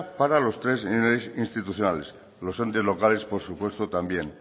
para los tres institucionales los entes locales por supuesto también